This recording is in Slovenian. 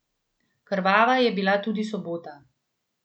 Krvava je bila tudi sobota.